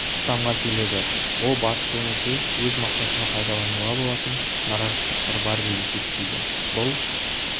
тоқтамға келеді ол батыс өңірде өз мақсатына пайдалануға болатын наразы топтар бар деп есептейді бұл